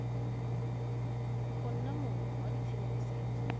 go nna mong wa tshedimosetso